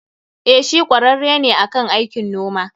Eh, shi kwararre ne akan aikin noma.